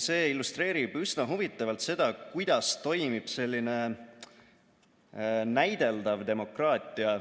See illustreerib üsna huvitavalt seda, kuidas toimib selline näideldav demokraatia